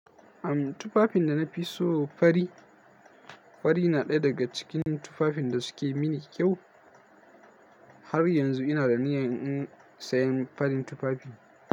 Am tufafin da na fi so fari. Fari na ɗaya daga cikin tufafin da suke mini kyau. Har yanzu ina da niyan in sayan farin tufafi.